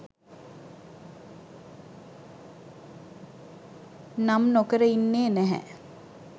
නම් නොකර ඉන්නේ නැහැ